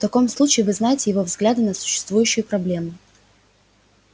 в таком случае вы знаете его взгляды на существующую проблему